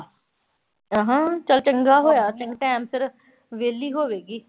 ਅਹਮ ਚਲ ਚੰਗਾ ਹੋਇਆ ਟਾਇਮ ਸਿਰ ਵਿਹਲੀ ਹੋਵੇਗੀ।